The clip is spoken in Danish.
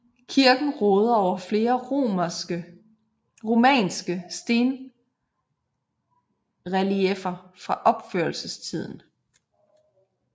Kirken råder over flere romanske stenrelieffer fra opførelsestiden